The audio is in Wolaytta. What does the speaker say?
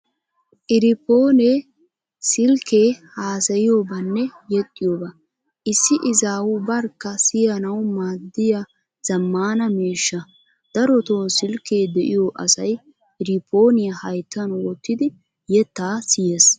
Irifoonee silkkee haasayiyobaanne yexxiyobaa issi izaawu barkka siyanawu maaddiya zammaana miishsha. Daroto silkkee de'iyo asay irifooniyaa hayttan wottidi yettaa siyees.